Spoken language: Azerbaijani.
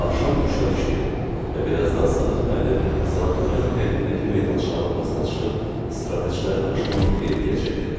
Axşam tuşu tuşu idi və birazdan Sadıq müəllim sanatoriyanın həyətindəki meydançanın ortasına çıxıb istirahətçilərin axşamını xeyirləyəcəkdi.